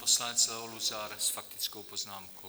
Poslanec Leo Luzar s faktickou poznámkou.